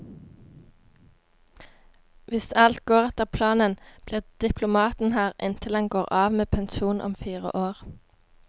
Hvis alt går etter planen, blir diplomaten her inntil han går av med pensjon om fire år.